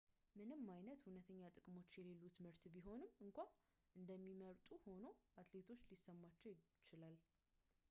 ምንም አይነት እውነተኛ ጥቅሞች የሌሉትን ምርት ቢሆንም እንኳን እንደሚመርጡ ሆኖ አትሌቶች ሊሰማቸው ይችላል